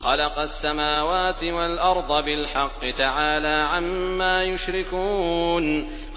خَلَقَ السَّمَاوَاتِ وَالْأَرْضَ بِالْحَقِّ ۚ تَعَالَىٰ عَمَّا يُشْرِكُونَ